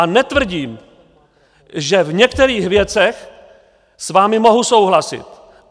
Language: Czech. A netvrdím, že v některých věcech s vámi mohu souhlasit.